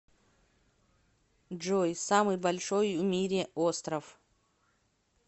джой самый большой в мире остров